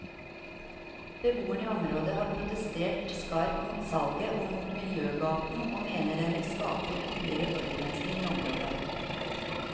Beboerne i området har protestert skarpt mot salget og mot miljøgaten og mener den vil skape ytterligere forurensning i området.